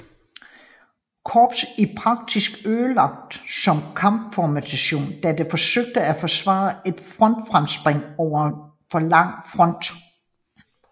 Korps i praksis ødelagt som kampformation da det forsøgte at forsvare et frontfremspring over en for lang front